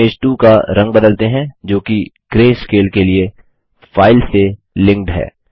image 2 का रंग बदलते हैं जोकि ग्रैस्केल के लिए फाइल से लिंक्ड है